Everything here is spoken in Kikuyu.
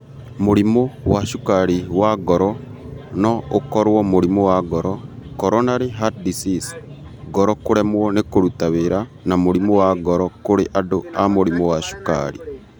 Mũrimũ wa cukarĩ wa ngoro no ũkorũo mũrimũ wa ngoro (coronary heart disease), ngoro kũremwo nĩ kũruta wĩra, na mũrimũ wa ngoro kũrĩ andũ a mũrimũ wa cukarĩ.